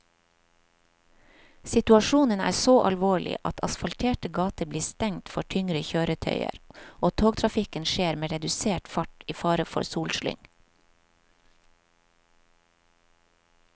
Situasjonen er så alvorlig at asfalterte gater blir stengt for tyngre kjøretøyer og togtrafikken skjer med redusert fart i fare for solslyng.